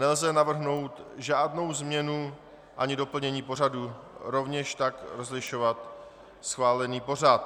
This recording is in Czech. Nelze navrhnout žádnou změnu ani doplnění pořadu, rovněž tak rozšiřovat schválený pořad.